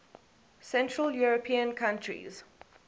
central european countries